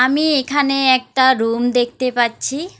আমি এখানে একটা রুম দেখতে পাচ্ছি।